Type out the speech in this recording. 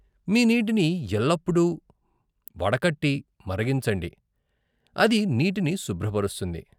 మీ నీటిని ఎల్లప్పుడూ వడకట్టి మరిగించండి, అది నీటిని శుభ్రపరుస్తుంది.